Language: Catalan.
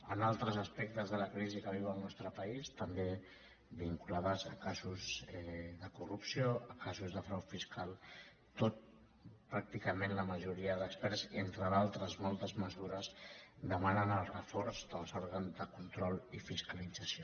en altres aspectes de la crisi que viu el nostre país també vinculades a casos de corrupció a casos de frau fiscal tot pràcticament la majoria d’experts entre d’altres moltes mesures demanen el reforç dels òrgans de control i fiscalització